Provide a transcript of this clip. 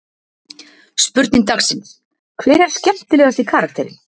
Spurning dagsins: Hver er skemmtilegasti karakterinn?